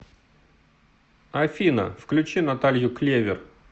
афина включи наталью клевер